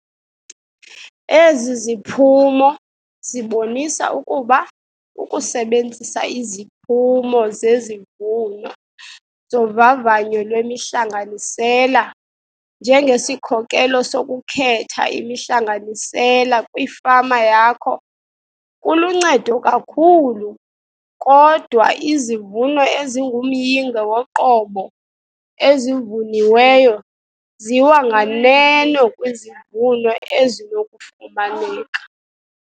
Ezi ziphumo zibonisa ukuba ukusebenzisa iziphumo zezivuno zovavanyo lwemihlanganisela njengesikhokelo sokukhetha imihlanganisela kwifama yakho kuluncedo kakhulu kodwa izivuno ezingumyinge woqobo ezivuniweyo ziwa nganeno kwizivuno ezinokufumaneka.